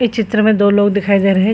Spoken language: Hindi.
इस चित्र में दो लोग दिखाई दे रहे हैं ।